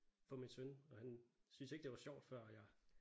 For min søn og han syntes ikke det var sjovt før jeg